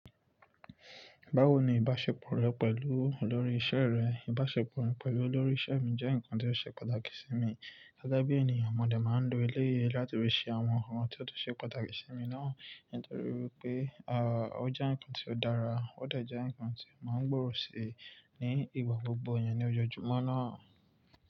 Báwo ni ìbáṣepọ̀ rẹ pẹ̀lú olórí iṣẹ́ rẹ? Ìbáṣepọ̀ mi pẹ̀lú olórí iṣẹ́ mi jẹ́ nǹkan tó ṣe pàtàkì sí mi. Gẹ́gẹ́ bí ènìyàn, mo lè máa ń lo ilé yìí láti rí sí àwọn ohun tí ó ṣe pàtàkì sí mi náà nítorí pé, à, ó jẹ́ nǹkan tí ó dára, ó dà jẹ́ nǹkan tí màá ń gbórò sí ní ìgbà gbogbo ènìyàn ní ọjọ́ Jùmọ́ náà.